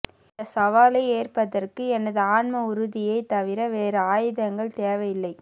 இந்த சவாலை ஏற்பதற்கு எமது ஆன்ம உறுதியை தவிர வேறு ஆயுதங்கள் தேவை இல்லை